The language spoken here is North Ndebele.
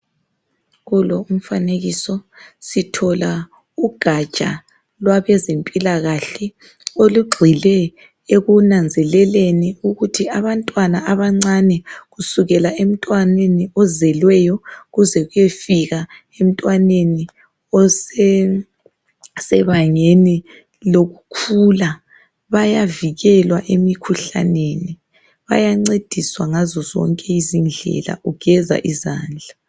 Kulo umfanekiso sithola ugaja lwabeze mpilakahle olugxile ekunanzeleleni ukuthi abantwana abancane kusukela emntwaneni ozelweyo ukuze kuyofika entwaneni osebangeni lokukhula. Bayavikelwa emikhuhlaneni ,bayancediswa ngazozonke izindlela ukugeza isandla.